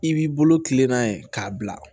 I b'i bolo kilenna ye k'a bila